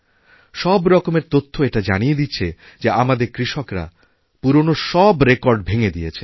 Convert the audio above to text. সবরকমের তথ্য এটা জানিয়ে দিচ্ছে যে আমাদেরকৃষকরা পুরনো সব রেকর্ড ভেঙে দিয়েছেন